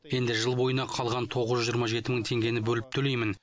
енді жыл бойына қалған тоғыз жүз жиырма жеті мың теңгені бөліп төлеймін